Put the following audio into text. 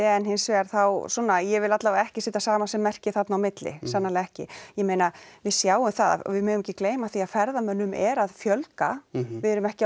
en hins vegar þá svona ég vil alla vega ekki setja samasemmerki þarna á milli sannarlega ekki ég meina við sjáum það og við megum ekki gleyma því að ferðamönnum er að fjölga við erum ekki